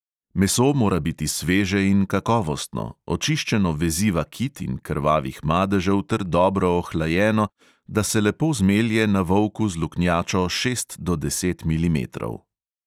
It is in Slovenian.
Meso mora biti sveže in kakovostno, očiščeno veziva kit in krvavih madežev ter dobro ohlajeno, da se lepo zmelje na volku z luknjačo šest do deset milimetrov.